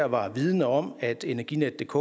var vidende om at energinetdk